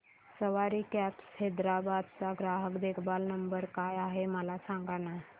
सवारी cabs Hyderabad चा ग्राहक देखभाल नंबर काय आहे मला सांगाना